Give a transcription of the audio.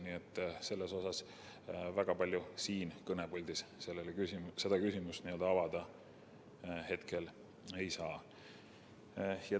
Nii et väga palju siin kõnepuldis seda küsimust avada hetkel ei saa.